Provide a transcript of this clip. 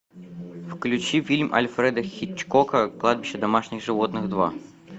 включи фильм альфреда хичкока кладбище домашних животных два